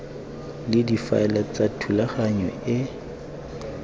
le difaele tsa thulaganyo e